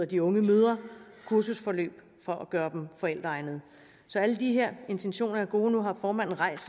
de unge mødre kursusforløb for at gøre dem forældreegnede alle de her intentioner er gode nu har formanden rejst